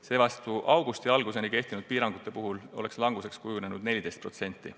Seevastu augusti alguseni kehtinud piirangute puhul oleks languseks kujunenud 14%.